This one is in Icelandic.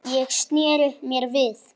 Ég sneri mér við.